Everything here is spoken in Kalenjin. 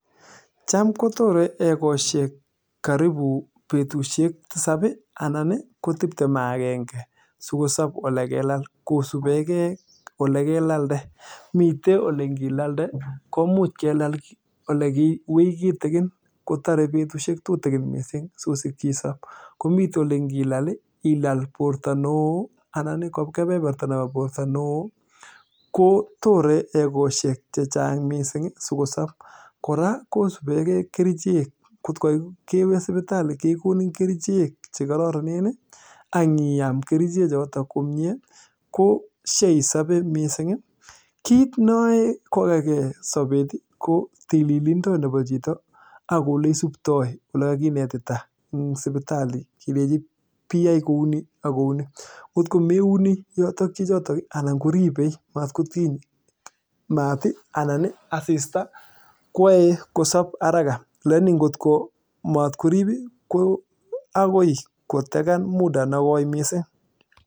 Cham kobetushek tisab ii anan ii ko betushek taman ak kengee kosubkei ako olekelalde koraa kosubekei kerichek kotkoo kewee sipitali kekonin kerichek ko isabee eng kasarta nee nwach kiit neae kokakee sabet ii ko tililindo nebo chichotok